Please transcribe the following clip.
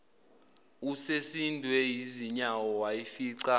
usesindwe yizinyawo wayifica